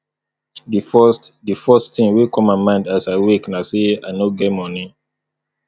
di first di first tin wey come mind as i wake na sey i no get moni